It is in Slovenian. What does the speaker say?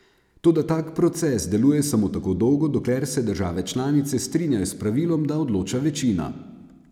Toda tak proces deluje samo tako dolgo, dokler se države članice strinjajo s pravilom, da odloča večina.